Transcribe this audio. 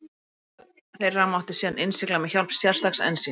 Tengingu þeirra mátti síðan innsigla með hjálp sérstaks ensíms.